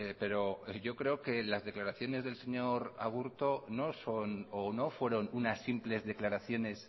pero yo creo que las declaraciones del señor aburto no son o no fueron unas simples declaraciones